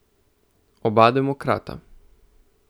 Oba demokrata.